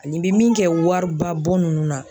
An'i be min kɛ wari ba bɔ nunnu na